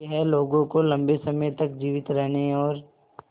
यह लोगों को लंबे समय तक जीवित रहने और